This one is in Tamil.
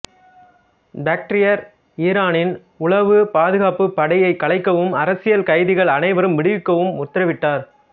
பக்டியர் ஈரானின் உளவு பாதுகாப்பு படையைக் கலைக்கவும் அரசியல் கைதிகள் அனைவரும் விடுவிக்கவும் உத்தரவிட்டார்